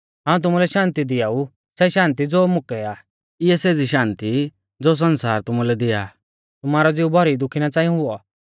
हाऊं तुमुलै शान्ति दिआऊ सै शान्ति ज़ो मुकै आ इऐ सेज़ी शान्ति नाईं ज़ो सण्सार तुमुलै दिया आ तुमारौ ज़िऊ भौरी दुखी ना च़ांई हुऔ